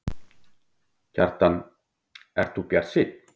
Kjartan: Ert þú bjartsýnn?